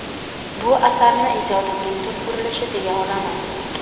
Bu asarni ijodimning tub burulishi deya olaman.